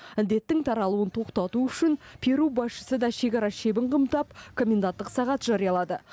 індеттің таралуын тоқтату үшін перу басшысы да шекара шебін қымтап коменданттық сағат жариялады